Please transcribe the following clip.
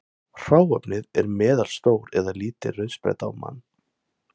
Hráefnið er meðalstór eða lítil rauðspretta á mann.